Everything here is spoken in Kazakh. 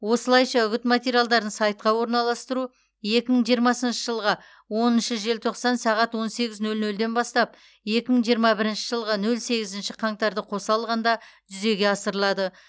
осылайша үгіт материалдарын сайтқа орналастыру екі мың жиырмасыншы жылғы оныншы желтоқсан сағат он сегіз нөл нөлден бастап екі мың жиырма бірінші жылғы нөл сегізінші қаңтарды қоса алғанда жүзеге асырылады